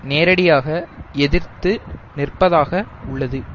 நேரடியாக எதிர்த்து நிற்பதாக உள்ளது